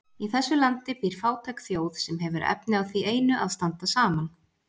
Í þessu landi býr fátæk þjóð, sem hefur efni á því einu að standa saman.